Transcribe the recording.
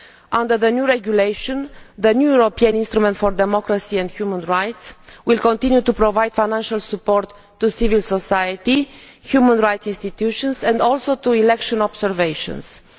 Under the new regulation, the new European instrument for democracy and human rights will continue to provide financial support to civil society, human rights institutions and also to election observation missions.